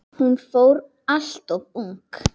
Hún fór alltof ung.